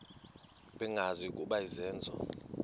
bengazi ukuba izenzo